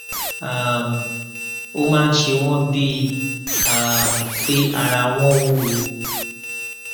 um ó máa ń ṣe wọn bíi um pé ara wọn wúwo